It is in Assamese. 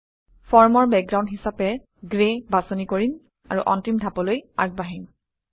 ফৰ্মৰ বেকগ্ৰাউণ্ড হিচাপে গ্ৰে বাছনি কৰিম আৰু অন্তিম ধাপলৈ আগবাঢ়িম